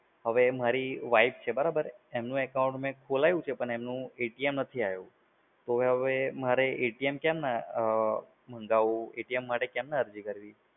હવે મારી પત્ની છે બરાબર? એમનુ account મે ખોલાયું છે પણ એમનુ નથી આયુ. તો હવે મારે કેમ મંગાવવું? મારે કેમ અરજી કરવી?